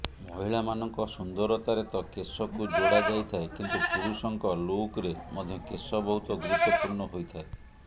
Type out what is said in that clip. ମହିଳାମାନଙ୍କ ସୁନ୍ଦରତାରେ ତ କେଶକୁ ଯୋଡ଼ା ଯାଇଥାଏ କିନ୍ତୁ ପୁରୁଷଙ୍କ ଲୁକରେ ମଧ୍ୟ କେଶ ବହୁତ ଗୁରୁତ୍ୱପୂର୍ଣ ହୋଇଥାଏ